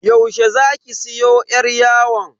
Yaushe zaki siyo yar yawon?